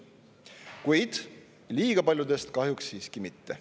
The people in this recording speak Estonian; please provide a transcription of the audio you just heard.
Kuid liiga paljudest kahjuks siiski mitte.